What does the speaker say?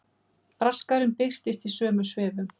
Braskarinn birtist í sömu svifum.